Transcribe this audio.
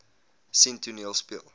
sien toneel speel